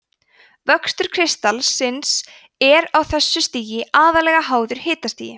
vöxtur kristallsins er á þessu stigi aðallega háður hitastigi